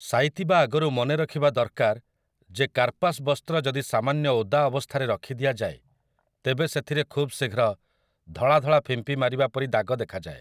ସାଇତିବା ଆଗରୁ ମନେରଖିବା ଦରକାର ଯେ କାର୍ପାସ୍ ବସ୍ତ୍ର ଯଦି ସାମାନ୍ୟ ଓଦା ଅବସ୍ଥାରେ ରଖି ଦିଆଯାଏ ତେବେ ସେଥିରେ ଖୁବ୍ ଶିଘ୍ର ଧଳାଧଳା ଫିମ୍ପି ମାରିବା ପରି ଦାଗ ଦେଖାଯାଏ ।